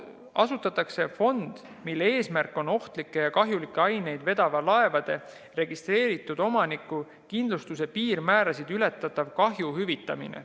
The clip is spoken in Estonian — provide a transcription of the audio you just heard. Asutatakse fond, mille eesmärk on ohtlikke ja kahjulikke aineid vedava laeva registreeritud omaniku kindlustuse piirmäärasid ületava kahju hüvitamine.